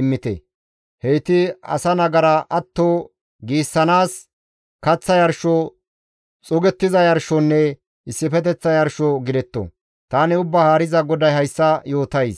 immite. Heyti asa nagara atto giissanaas kaththa yarsho, xuugettiza yarshonne issifeteththa yarsho gidetto. Tani Ubbaa Haariza GODAY hayssa yootays.